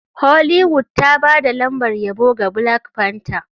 Hollywood ta ba da lambar yabo ga black panther.